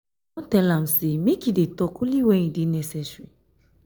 i don tell am sey make e dey tok only wen e dey necessary.